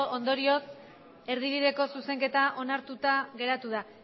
ondorioz erdibideko zuzenketa onartuta geratu da